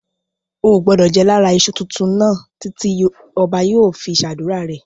Ò gbọdọ̀ jẹ lára iṣu tuntun náà títí ọba yóò fi ṣe ádùrá rẹ̀.